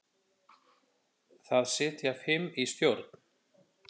Þar sitja fimm í stjórn.